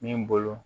Min bolo